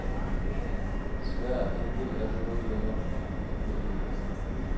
Desværre er en del af dem noget længere, end de burde have været.